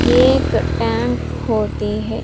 एक टैंक होते हैं।